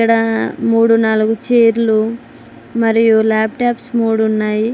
ఆ మూడు నాలుగు చైర్లు మరియు ల్యాప్టాప్స్ మూడు ఉన్నాయి.